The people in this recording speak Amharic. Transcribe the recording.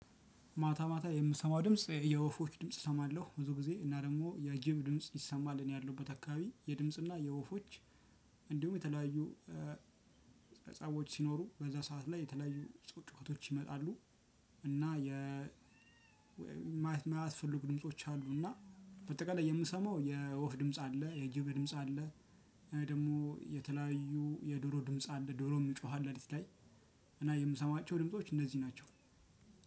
ማታ ማታ የምሰማው ድምጽ የወፎች ድምጽ እሰማለሁ ብዙ ጊዜ እና ደግሞ የጌም ድምጽ ይሰማል እኔ ያለሁበት አካባቢ የድምጽና የወፎች እንዲሁም የተለያዩ ህፃዎች ሲኖሩ በዛ ሰዓት ላይ የተለያዩ ጩኸቶች ይመጣሉ። እና የ የማያስፈልጉ ድምጾች አሉና በአጠቃላይ የምሰማው የወፍ ድምጽ አለ የጅብ ድምጽ አለ። ደግሞ የተለያዩ የዶሮ ድምጽ አለ ዶሮም ይጮሃል ሌሊት ላይ። እና የምሰማቸው ድምጾች እነዚህ ናቸው።